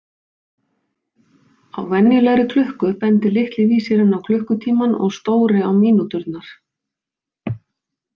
Á venjulegri klukku bendir litli vísirinn á klukkutímann og stóri á mínúturnar.